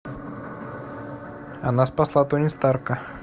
она спасла тони старка